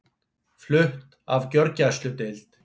Flutt af gjörgæsludeild